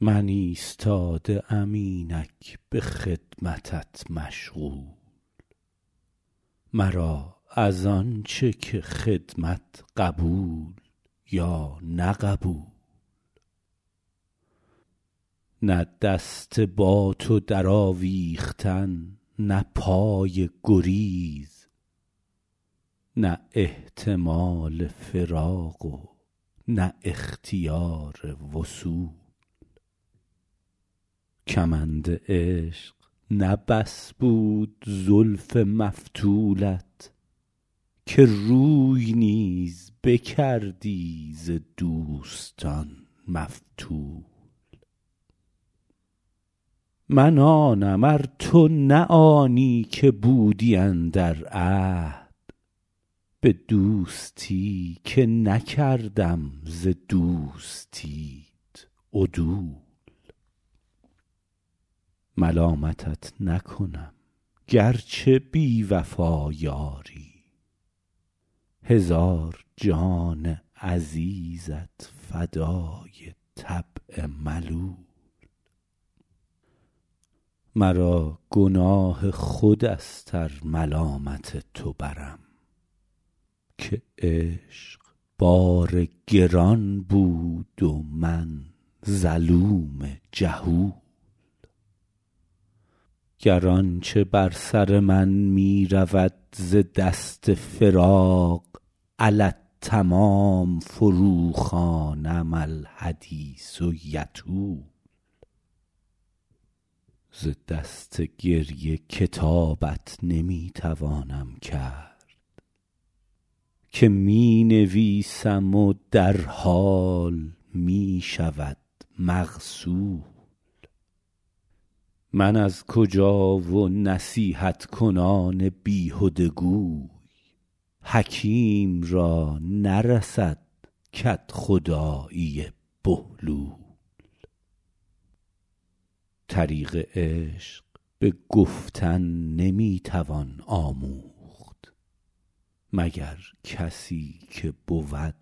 من ایستاده ام اینک به خدمتت مشغول مرا از آن چه که خدمت قبول یا نه قبول نه دست با تو درآویختن نه پای گریز نه احتمال فراق و نه اختیار وصول کمند عشق نه بس بود زلف مفتولت که روی نیز بکردی ز دوستان مفتول من آنم ار تو نه آنی که بودی اندر عهد به دوستی که نکردم ز دوستیت عدول ملامتت نکنم گر چه بی وفا یاری هزار جان عزیزت فدای طبع ملول مرا گناه خود است ار ملامت تو برم که عشق بار گران بود و من ظلوم جهول گر آن چه بر سر من می رود ز دست فراق علی التمام فروخوانم الحدیث یطول ز دست گریه کتابت نمی توانم کرد که می نویسم و در حال می شود مغسول من از کجا و نصیحت کنان بیهده گوی حکیم را نرسد کدخدایی بهلول طریق عشق به گفتن نمی توان آموخت مگر کسی که بود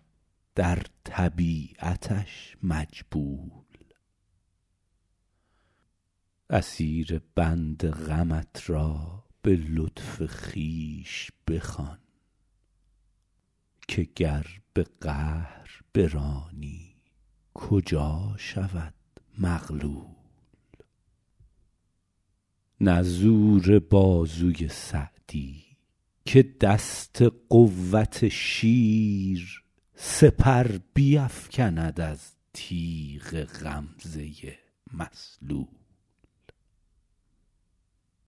در طبیعتش مجبول اسیر بند غمت را به لطف خویش بخوان که گر به قهر برانی کجا شود مغلول نه زور بازوی سعدی که دست قوت شیر سپر بیفکند از تیغ غمزه مسلول